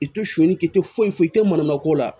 I tɛ son k'i tɛ foyi foyi i tɛ manama ko la